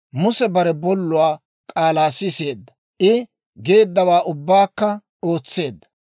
Muse bare bolluwaa k'aalaa siseedda; I geeddawaa ubbaakka ootseedda.